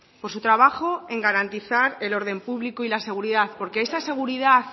por su trabajo en garantizar el orden público y la seguridad porque esa seguridad